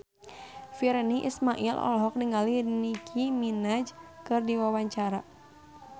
Virnie Ismail olohok ningali Nicky Minaj keur diwawancara